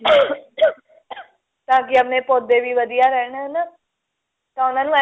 ਤਾਂ ਕਿ ਆਪਣੇ ਪੌਦੇ ਵੀ ਵਧੀਆਂ ਰਹਿਣ ਹਨਾ ਤਾਂ ਉਹਨਾਂ ਨੂੰ